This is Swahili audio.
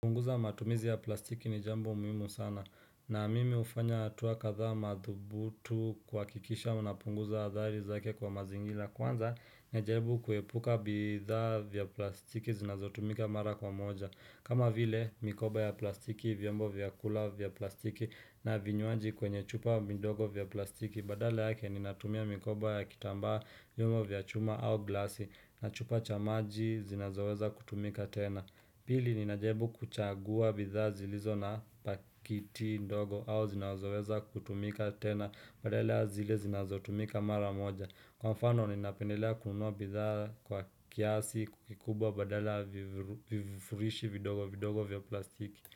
Punguza matumizi ya plastiki ni jambo muhimu sana. Na mimi hufanya hatua kadhaa madhubuti kuhakikisha napunguza athari zake kwa mazingira. Kwanza, najaribu kuepuka bidhaa vya plastiki zinazotumika mara kwa moja. Kama vile, mikoba ya plastiki, vyombo vyakula vya plastiki na vinywanji kwenye chupa midogo vya plastiki. Badale yake, ninatumia mikoba ya kitambaa, vyuma vya chuma au glasi na chupa cha maji zinazoweza kutumika tena. Pili ninajaribu kuchagua bidhaa zilizo na pakiti ndogo au zinazoweza kutumika tena badala zile zinazotumika mara moja Kwa mfano ninapendelea kununua bidhaa kwa kiasi kikubwa badala vivurishi vidogo vidogo vya plastiki.